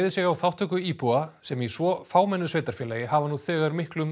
sig á þáttöku íbúa sem í svo fámennu sveitarfélagi hafa nú þegar miklum